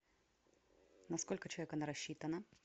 на сколько человек она рассчитана